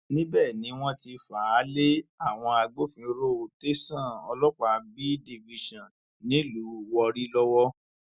níbẹ ni wọn ti fà á lé àwọn agbófinró tẹsán ọlọpàá b division nílùú warri lọwọ